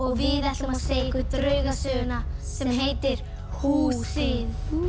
við ætlum að segja ykkur draugasöguna sem heitir húsið